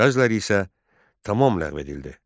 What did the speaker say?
Bəziləri isə tam ləğv edildi.